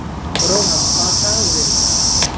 Ronald, hvaða dagur er í dag?